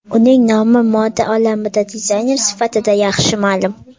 Uning nomi moda olamida dizayner sifatida yaxshi ma’lum.